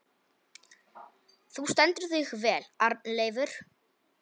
Þú stendur þig vel, Arnleifur!